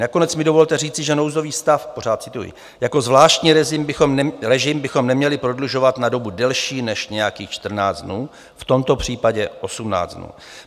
Nakonec mi dovolte říci, že nouzový stav - pořád cituji - jako zvláštní režim bychom neměli prodlužovat na dobu delší než nějakých 14 dnů, v tomto případě 18 dnů.